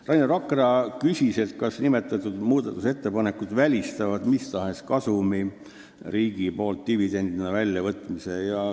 Rainer Vakra küsis, kas nimetatud muudatusettepanekud välistavad riigile mis tahes kasumi dividendina väljavõtmise.